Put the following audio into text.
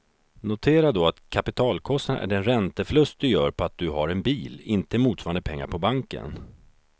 Notera då att kapitalkostnad är den ränteförlust du gör på att du har en bil, inte motsvarande pengar på banken.